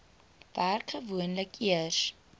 werk gewoonlik eers